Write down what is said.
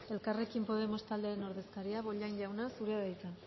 elkarrekin podemos taldearen ordezkaria bollain jauna zurea da hitza